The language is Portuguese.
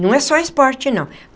Não é só esporte, não.